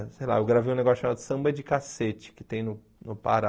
Sei lá, eu gravei um negócio chamado Samba de Cacete, que tem no no Pará.